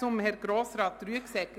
Zu Herrn Grossrat Rüegsegger: